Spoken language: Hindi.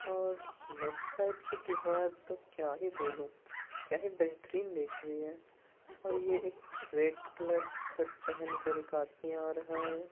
और लेफ्ट साइड की दीवार तो क्या ही बोलूं क्या ही बेहतरीन दिख रही है और ये एक रेड कलर शर्ट पहनकर एक आदमी आ रहा है |